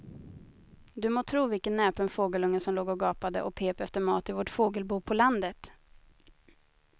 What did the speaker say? Du må tro vilken näpen fågelunge som låg och gapade och pep efter mat i vårt fågelbo på landet.